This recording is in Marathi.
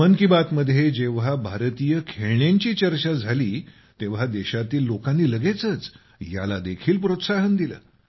मन की बात मध्ये जेव्हा भारतीय खेळण्यांची चर्चा झाली तेव्हा देशातील लोकांनी लगेचच याला देखील प्रोत्साहन दिले